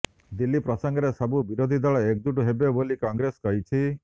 ଦିଲ୍ଲୀ ପ୍ରସଙ୍ଗରେ ସବୁ ବିରୋଧୀ ଦଳ ଏକଜୁଟ ହେବେ ବୋଲି କଂଗ୍ରେସ କହିଛି